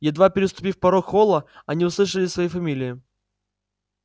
едва переступив порог холла они услышали свои фамилии